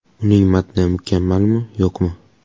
Uning matni mukammalmi, yo‘qmi?